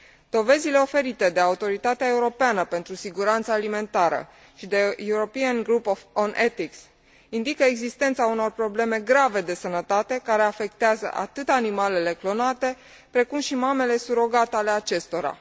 Dovezile oferite de Autoritatea Europeană pentru Siguranța Alimentară și de Grupul european pentru etică indică existența unor probleme grave de sănătate, care afectează atât animalele clonate, cât și mamele surogat ale acestora.